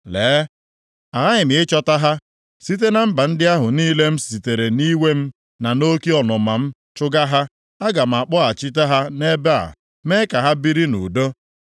Lee, aghaghị m ịchịkọta ha site na mba ndị ahụ niile m sitere nʼiwe m, na nʼoke ọnụma m chụga ha. Aga m akpọghachite ha nʼebe a, mee ka ha biri nʼudo.